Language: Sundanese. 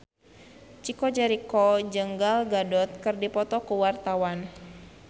Chico Jericho jeung Gal Gadot keur dipoto ku wartawan